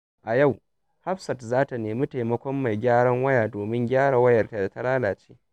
A yau, Hafsat za ta nemi taimakon mai gyaran waya domin gyara wayarta da ta lalace.